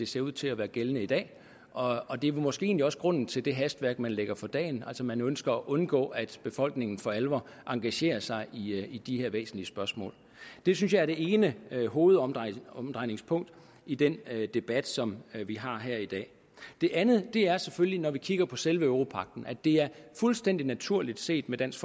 ser ud til at være gældende i dag og og det er måske egentlig også grunden til det hastværk man lægger for dagen altså man ønsker at undgå at befolkningen for alvor engagerer sig i de her væsentlige spørgsmål det synes jeg er det ene hovedomdrejningspunkt i den debat som vi har her i dag det andet er selvfølgelig når vi kigger på selve europagten nemlig at det er fuldstændig naturligt set med dansk